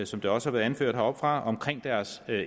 som det også har været anført heroppefra om deres